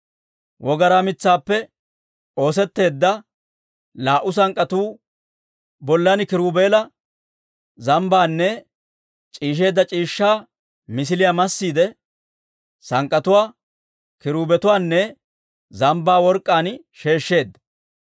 Wogaraa mitsaappe oosetteedda laa"u sank'k'atuu bollan kiruubeela, zambbaanne c'iishsheedda c'iishshaa misiliyaa massiide, sank'k'atuwaa, kiruubetuwaanne zambbaa work'k'aan sheeshsheedda.